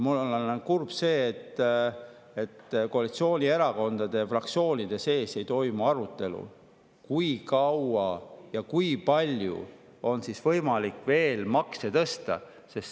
Mul on kurb selle pärast, et koalitsioonierakondade fraktsioonide sees ei toimu arutelu selle üle, kui kaua ja kui palju on veel võimalik makse tõsta.